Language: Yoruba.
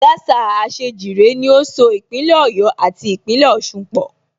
Gásà Àṣèjìrẹ́ ni ó so Ìpínlẹ̀ Ọ̀yọ́ àti Ìpínlẹ̀ Ọ̀sun pọ̀